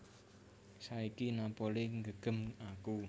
Saiki Napoli nggegem aku